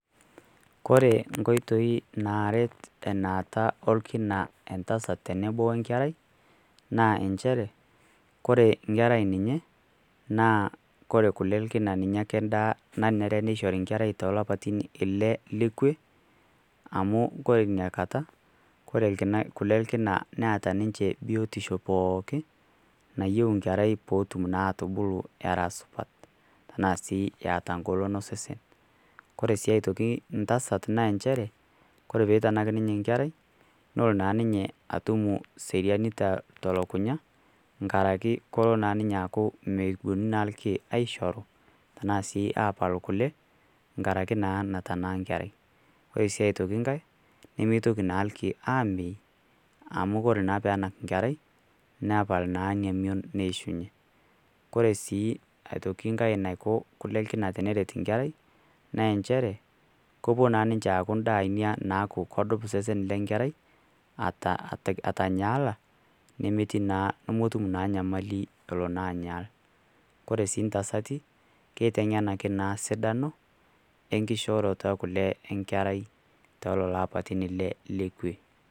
Kore inkoitoi naaret enaata olkina entasat tenebo oenkerai, naa inchere kore enkerai ninye naa kore kole olkina ninye ake endaa nanare neishori enkerai toolapaitin ille le kwe amu kore inakata, kore kole elkina neata ninche biotisho pooki nayieu nkerai peotum naatubulu era supat enaa sii eata ngolon osesen. Kore sii aitoki ntasat naanchere kore peitanak ninye enkerai nolonaaninye atum seriani to telukunya ngaraki kolo naaninye aaku mepuonu naa ilkeek aishoru tenaa sii aapal kole ngaraki naa natanaa nkerai. Ore sii aitoki ngai nemeitoki naa ilkeek aamei amu kore naa peenak nkerai nepal naaninye emion neishunye. Kore sii aitoki ngai naiko kole elkina teneret nkerai naenchere kepuo naaninche aaku indaai naaku kodup isesen lenkerai ata atanyaala nemetii nemetum naa nyamali elo naanyaa. Kore sii ntasati keiteng'enaki naa sidano enkishooroto e kole enkerai tooleloapaitin ille le kwe.